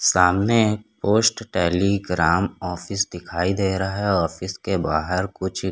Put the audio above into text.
सामने post telegram office दिखाई दे रहा हैं ऑफिस के बाहर कुछ --